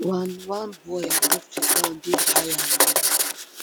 one one boy above di ground dey higher um